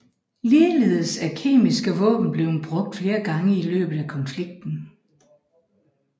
Ligeledes er kemiske våben blevet brugt flere gange i løbet af konflikten